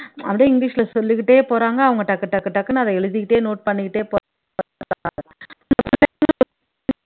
அப்படியே இங்கிலீஷில சொல்லிக்கிட்டே போறாங்க அவங்க டக்கு டக்கு டக்குன்னு அத எழுதிக்கிட்டே note பண்ணிக்கிட்டே